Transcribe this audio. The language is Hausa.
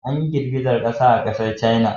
Anyi girgizan ƙasa a ƙasar caina.